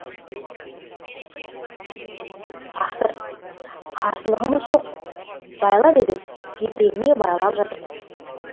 тақсыр қарсылығымыз жоқ байла дедің жетегіңе байлап жатырмыз